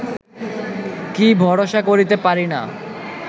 কি ভরসা করিতে পারি না